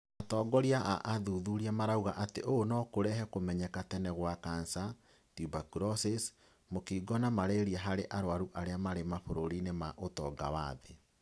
Atongoria a athuthuria marauga atĩ ũũ nokũrehe kũmenyeka tene gwa kansa, tuberculosis, mũkingo na mararia harĩ arwaru arĩa marĩ mabũrũri ma ũtonga wa thĩĩ